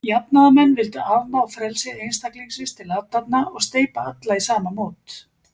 Jafnaðarmenn vildu afmá frelsi einstaklingsins til athafna, og steypa alla í sama mót.